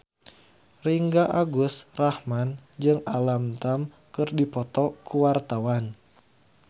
Ringgo Agus Rahman jeung Alam Tam keur dipoto ku wartawan